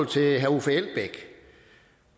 til herre uffe elbæk